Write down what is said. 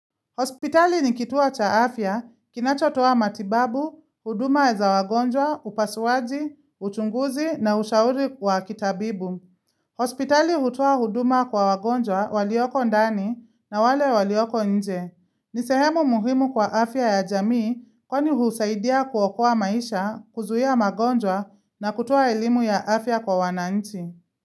Hospitali ni kituo cha afya, kinachotoa matibabu, huduma za wagonjwa, upasuaji, uchunguzi na ushauri kwa kitabibu. Hospitali hutoa huduma kwa wagonjwa walioko ndani na wale walioko nje. Ni sehemu muhimu kwa afya ya jamii kwani husaidia kuokoa maisha, kuzuia magonjwa na kutoaa elimu ya afya kwa wananchi.